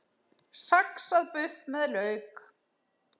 Saxað buff með lauk